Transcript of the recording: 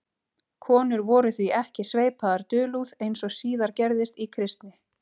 Konur voru því ekki sveipaðar dulúð, eins og síðar gerðist í kristni.